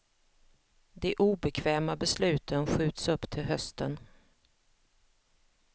De obekväma besluten skjuts upp till hösten.